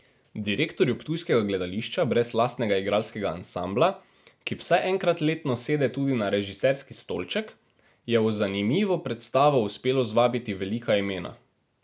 Direktorju ptujskega gledališča brez lastnega igralskega ansambla, ki vsaj enkrat letno sede tudi na režiserski stolček, je v zanimivo predstavo uspelo zvabiti velika imena.